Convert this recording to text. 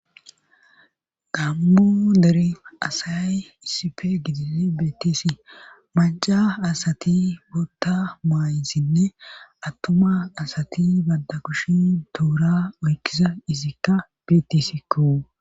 Gamo dere asayay issife gidin beettisi maca asati bootta maayissinne attuma asati banda kushin duura oykkiza izikka beettisikko